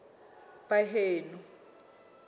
baheno